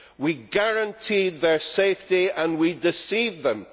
We guaranteed their safety and we deceived them.